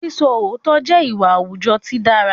Sísọ òótọ́ jẹ́ ìwà àwùjọ tí dára